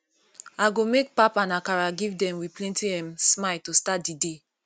i go make pap and akara give dem with plenty um smile to start di day